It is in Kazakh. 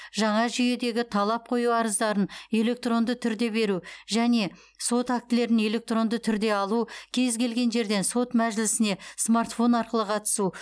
жаңа жүйедегі талап қою арыздарын электронды түрде беру және сот актілерін электронды түрде алу кез келген жерден сот мәжілісіне смартфон арқылы қатысу